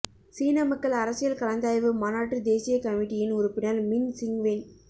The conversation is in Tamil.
சீன மக்கள் அரசியல் கலந்தாய்வு மாநாட்டுத் தேசியக் கமிட்டியின் உறுப்பினர் மின் சிங்வென்